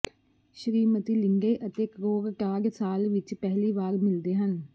Shrimati Linde ਅਤੇ Krogstad ਸਾਲ ਵਿਚ ਪਹਿਲੀ ਵਾਰ ਮਿਲਦੇ ਹਨ